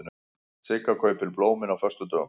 Sigga kaupir blómin á föstudögum.